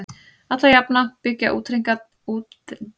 Alla jafna byggja útreikningarnir á einhvers konar verðlagsvísitölu.